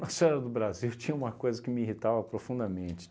Nossa Senhora do Brasil tinha uma coisa que me irritava profundamente.